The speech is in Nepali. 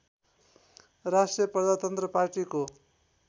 राष्ट्रिय प्रजातन्त्र पार्टीको